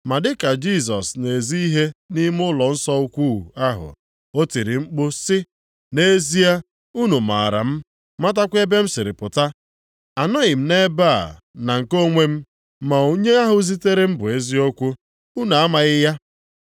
Ma dị ka Jisọs na-ezi ihe nʼime ụlọnsọ ukwuu ahụ, o tiri mkpu sị, “Nʼezie, unu maara m, matakwa ebe m siri pụta. Anọghị m nʼebe a na nke onwe m, ma onye ahụ zitere m bụ eziokwu. Unu amaghị ya.